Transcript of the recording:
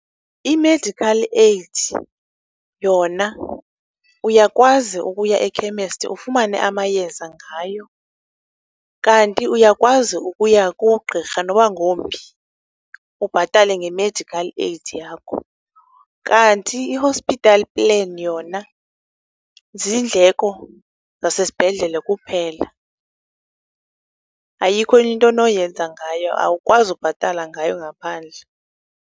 Imedikhali eyidi yona uyakwazi ukuya ekhemesthi ufumane amayeza ngayo, kanti uyakwazi ukuya kugqirha noba ngowumphi ubhatale ngemedikhali eyidi yakho. Kanti i-hospital plan yona ziindleko zazesibhedlele kuphela. Ayikho enye nto onoyenza ngayo. Awukwazi ukubhatala ngayo ngaphandle.